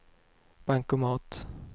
bankomat